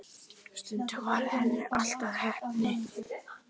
Stundum varð henni allt að heppni.